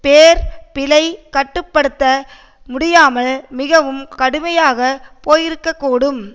பேர் பிழை கட்டு படுத்த முடியாமல் மிகவும் கடுமையாக போயிருக்ககூடும்